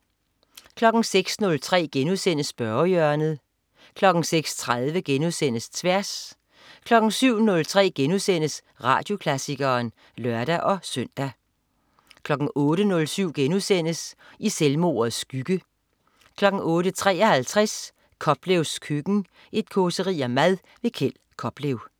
06.03 Spørgehjørnet* 06.30 Tværs* 07.03 Radioklassikeren* (lør-søn) 08.07 I selvmordets skygge* 08.53 Koplevs køkken. Et causeri om mad. Kjeld Koplev